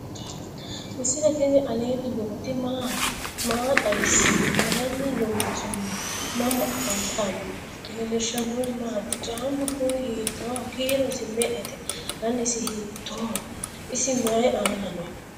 misile tini alenni nooti maati? maa xawissanno? Maayinni loonisoonni? mama affanttanno? leelishanori maati? caamu kuuni hittoho? kiirosi me"ete? danisi bitoho? isi maayi aana no?